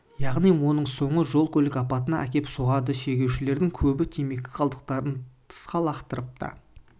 яғни оның соңы жол көлік апатына әкеп соғады шегушілердің көбі темекі қалдықтарын тысқа лақтырып та